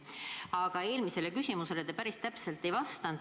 Aga eelmisele küsimusele te päris täpselt ei vastanud.